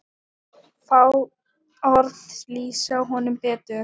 Fá orð lýsa honum betur.